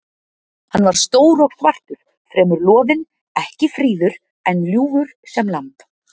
Hann var stór og svartur, fremur loðinn, ekki fríður, en ljúfur sem lamb.